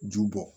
Ju bɔ